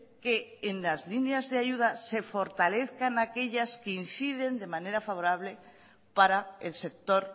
que en las líneas de ayuda se fortalezcan aquellas que inciden de manera favorable para el sector